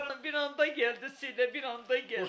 Bir anda gəldi, bir anda gəldi.